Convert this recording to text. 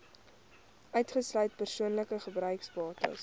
uitgesluit persoonlike gebruiksbates